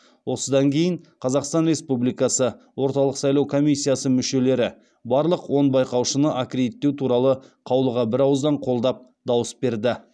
осыдан кейін қазақстан республикасы орталық сайлау комиссиясы мүшелері барлық он байқаушыны аккредиттеу туралы қаулыға бірауыздан қолдап дауыс берді